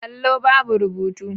Allo babu rubutu.